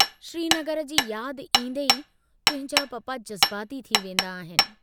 श्रीनगर जी याद ईन्दे ई तुंहिंजा पापा जज़्बाती थी वेन्दा आहिनि।